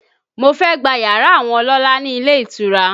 Mo fẹ́ gba yàrá àwọn ọlọ́lá ni ilé ìtura